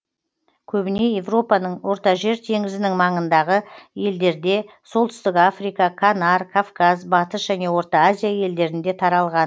көбіне европаның ортажер теңізінің маңындағы елдерде солтүстік африка канар кавказ батыс және орта азия елдерінде таралған